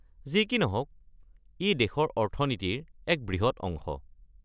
যি কি নহওক, ই দেশৰ অৰ্থনীতিৰ এক বৃহৎ অংশ।